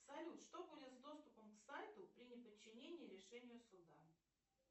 салют что будет с доступом к сайту при неподчинении решению суда